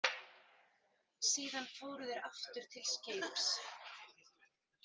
Síðan fóru þeir aftur til skips.